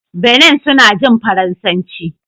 Benin suna jin Faransanci